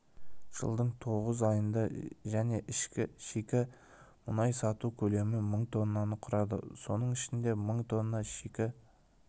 жылдың тоғыз айында және шикі мұнай сату көлемі мың тоннаны құрады соның ішінде мың тонна шикі